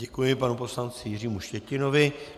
Děkuji panu poslanci Jiřímu Štětinovi.